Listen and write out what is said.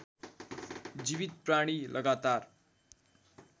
जीवित प्राणी लगातार